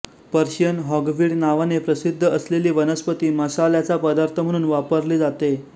Persian hogweed नावाने प्रसिद्ध असलेली वनस्पती मसाल्याचा पदार्थ म्हणून वापरली जाते